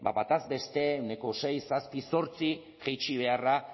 ba bataz beste ehuneko sei zazpi zortzi jaitsi beharra